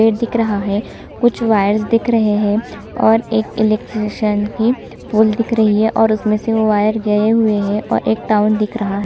पेड़ दिख रहा है कुछ वायर्स दिख रहै है और एक इलेक्ट्रीशियन की पोल दिख रही है और उसमें से वो वायर गए हुए है और एक टाउन दिख --